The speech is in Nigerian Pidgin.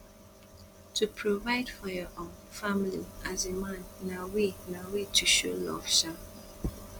to provide for your um family as a man na way na way to show love um